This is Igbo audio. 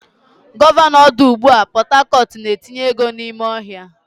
Gọvanọ ọdụ ụgbọ Port Harcourt na-etinye ego n'ime ọhịa.